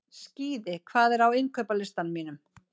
Skíði, hvað er á innkaupalistanum mínum?